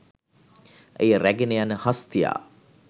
එය රැගෙන යන හස්තියා